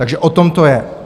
Takže o tom to je.